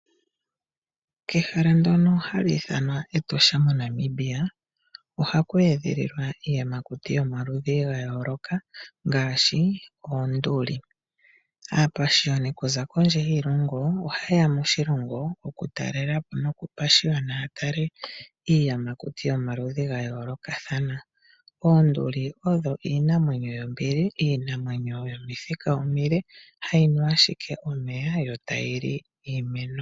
Kehala ndono hali ithanwa Etosha moNamibia ohaku edhililwa iiyamakuti yomaludhi ga yooloka ngaashi oonduli. Aapashiyoni okuza kondje yiilongo oha ye ya moshilongo okutalela po nokupashiyona ya tale iiyamakuti yomaludhi ga yoolokathana. Oonduli odho iinamwenyo yombili, iinamwenyo yomithika omile hayi nu ashike omeya yo tayi li iimeno.